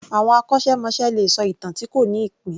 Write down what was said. Àwọn akọ́ṣẹ́- mọṣẹ́ ló lè sọ ìtàn tí kò ní ìpín